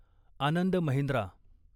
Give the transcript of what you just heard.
Anand Mahindra